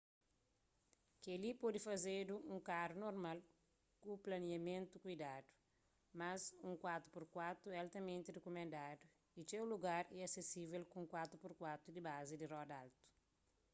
kel-li pode fazedu nun karu normal ku planiamentu kuidadu mas un 4x4 é altamenti rikumendadu y txeu lugar só é asesível ku un 4x4 di bazi di roda altu